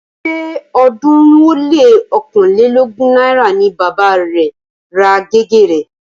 Ṣé ọ̀ọ́dúnrún ó lé ọ̀kánlelógún náírà ni bàba rẹ̀ ra gègé rẹ̀